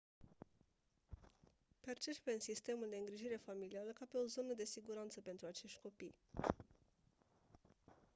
percepem sistemul de îngrijire familială ca pe o zonă de siguranță pentru acești copii